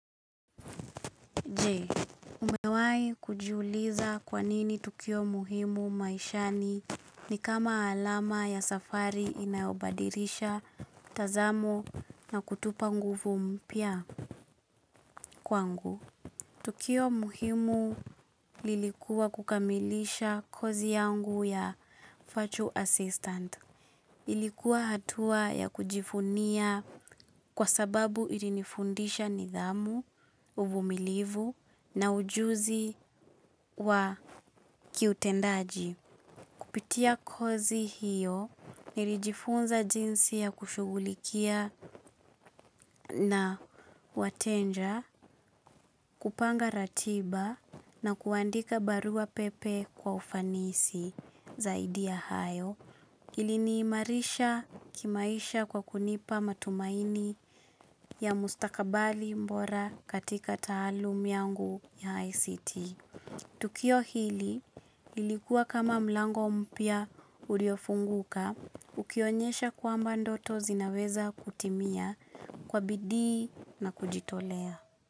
Je, umewahi kujiuliza kwa nini tukio muhimu maishani ni kama alama ya safari inayobadilisha mtazamo na kutupa nguvu mpya? Kwangu tukio muhimu lilikuwa kukamilisha kozi yangu ya Virtual Assistant. Ilikuwa hatua ya kujifunia kwa sababu ilinifundisha nidhamu, uvumilivu na ujuzi wa kiutendaji. Kupitia kozi hiyo nilijifunza jinsi ya kushughulikia na wateja, kupanga ratiba na kuandika barua pepe kwa ufanisi zaidi ya hayo. Iliniimarisha kimaisha kwa kunipa matumaini ya mustakabali bora katika taalamu yangu ya ICT. Tukio hili lilikuwa kama mlango mpya uliofunguka ukionyesha kwamba ndoto zinaweza kutimia kwa bidi na kujitolea.